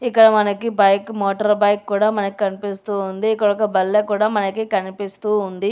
ఇక్కడ మనకి bike motor bike కూడా మనకు కనిపిస్తోంది ఇక్కడ ఒక బల్లె కూడా కనిపిస్తూ ఉంది.